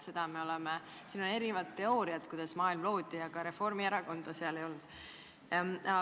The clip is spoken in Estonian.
On erinevaid teooriaid selle kohta, kuidas maailm loodi, kuid Reformierakonda maailma loojate hulgas ei ole.